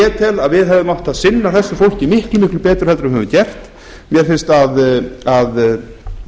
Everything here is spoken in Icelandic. ég tel að við hefðum átt að sinna þessu fólki miklu betur heldur en við höfum gert mér finnst að